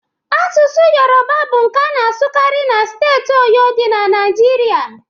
Asụsụ Yoruba bụ nke a na-asụkarị na steeti Oyo dị na Naijiria